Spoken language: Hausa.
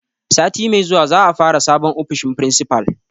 Sati mai zuwa za a fara sabon ofishin principal.